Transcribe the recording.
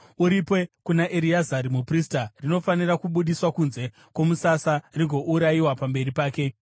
Uripe kuna Ereazari muprista; rinofanira kubudiswa kunze kwomusasa rigourayiwa pamberi pake.